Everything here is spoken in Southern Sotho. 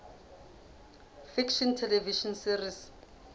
fiction television series